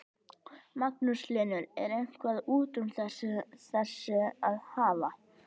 Magnús Hlynur: Er eitthvað út úr þessu að hafa?